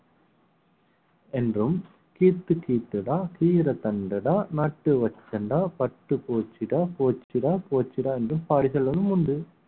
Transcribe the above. என்றும் கீத்து கீத்துடா கீர தண்டுடா நட்டு வச்சன்டா பட்டு போச்சுடா போச்சுடா போச்சுடான்னு என்று பாடல்களும் உண்டு